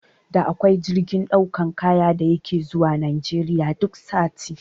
Da akwai jirgin ɗaukan kaya da yake zuwa Najeriya duk sati